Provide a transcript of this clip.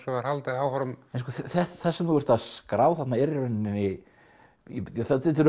var haldið áfram það sem þú ert að skrá þarna eru í rauninni þetta eru